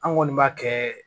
An kɔni b'a kɛ